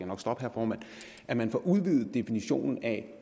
nok stoppe herre formand at man får udvidet definitionen af